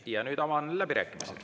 Ja nüüd avan läbirääkimised.